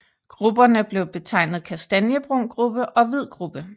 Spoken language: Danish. Grupperne blev betegnet Kastanjebrun gruppe og Hvid gruppe